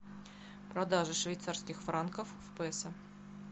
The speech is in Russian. продажа швейцарских франков в песо